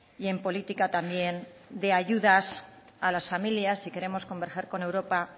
y en política también de ayudas a las familias si queremos converger con europa